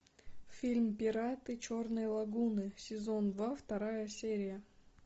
фильм пираты черной лагуны сезон два вторая серия